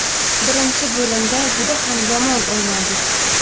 Birinchi bo‘limda juda ham yomon o‘ynadik.